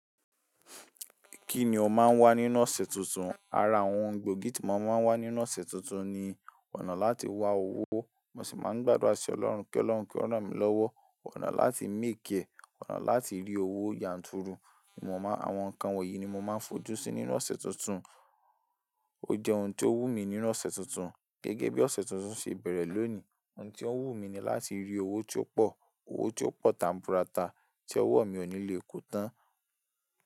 Kí ni o máa ń wá nínú ọ̀sẹ̀ tuntun? Ara àwọn gbòógì tí mo máa ń wá nínú ọ̀sẹ̀ tuntun ni ọ̀nà láti wa owó, mo sì máa ń gbàdúrà sí Ọlọ́run pé Ọlọ́run kí ó ràn mí lọ́wọ́, ọ̀nà láti míì kẹ̀, ọ̀nà láti rí owó yanturu. Mo mọ̀ àwọn nǹkan wọ̀nyí ni mo máa ń fojú sí nínú ọ̀sẹ̀ tuntun. Ó jẹ́ ohun tí ó wù mí nínú ọ̀sẹ̀ tuntun. Gẹ́gẹ́ bí ọ̀sẹ̀ tuntun ṣe bẹ̀rẹ̀ lónìí, ohun tí ó wù mí ni láti rí owó tó pọ̀, owó tó pọ̀ tan burata tí ọwọ́ mi ò ní le kó tán.